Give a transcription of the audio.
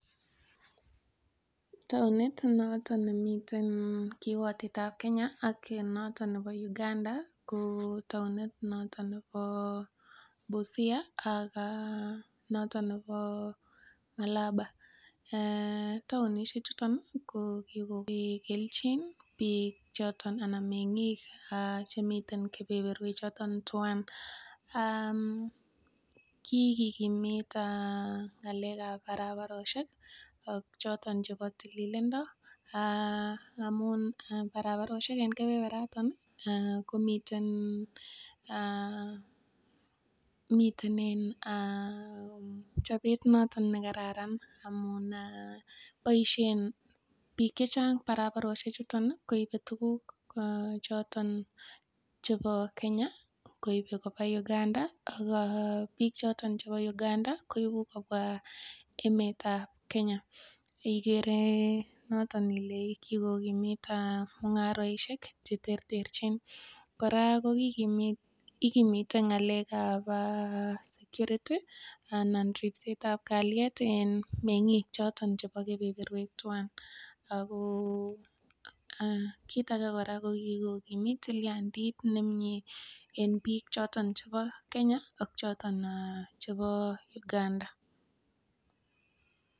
Taonit noton nemiten kiwotetab Kenya ak noton nepo Uganda ko taonit noton nepo Busia ak noton nepo Malaba taonisiek chuton ko kigo keljin piik choton anan meng'ik chemiten kepeperwek choton tuan ki kigimit ng'alek ab barbaroshek ak chotok chepo tililindo amun barbaroshek en kepeperwek noton komiten chopet noton nekararan amun boishen piik chechang' barbaroshek chuton koipe tuguk choton chepo Kenya koipe kopaa Uganda ak piik choton chepo Uganda koipu kopwa emet ab Kenya igere noton ile kigokimit mung'araishek cheterterchin koraa kogikimit ng'alek ab security anan ripset ab kalyet en meng'ik choton chepo kepeperwek tuan kiit age koraa ko kigokimit tilyandit nemii en piik choton chepo Kenya ak choton chepo Uganda.